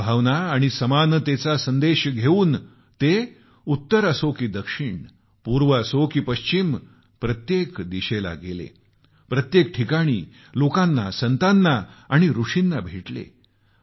सद्भावना आणि समानतेचा संदेश घेऊन ते उत्तर असो की दक्षिण पूर्व असो की पश्चिम प्रत्येक दिशेला गेले प्रत्येक ठिकाणी लोकांना संताना आणि ऋषींना भेटले